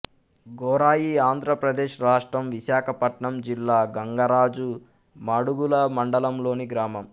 ఝెరాయి ఆంధ్ర ప్రదేశ్ రాష్ట్రం విశాఖపట్నం జిల్లా గంగరాజు మాడుగుల మండలంలోని గ్రామం